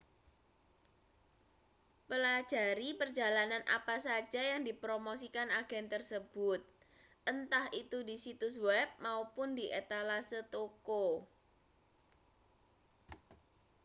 pelajari perjalanan apa saja yang dipromosikan agen tersebut entah itu di situs web maupun di etalase toko